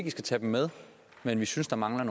i skal tage dem med men vi synes der mangler